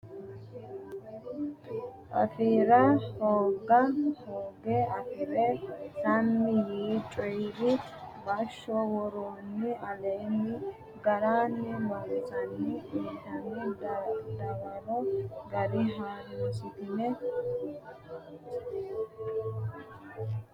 afi ra hooga hooge afi re sammi yii coyi ri bashsho woroonni aleenni garunni loosansa uytnoonni dawaro gara ha runsitanni aane noo garinni taashshinsa ikkasenna hoogase aane noo garinni la inanni.